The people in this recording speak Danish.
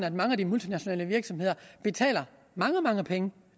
at mange af de multinationale virksomheder betaler mange mange penge